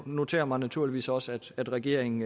noterer mig naturligvis også at regeringen